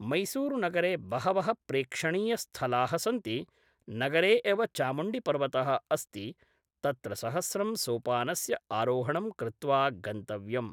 मैसूरुनगरे बहवः प्रेक्षणीयस्थलाः सन्ति नगरे एव चामुण्डिपर्वतः अस्ति तत्र सहस्रं सोपानस्य आरोहणं कृत्वा गन्तव्यं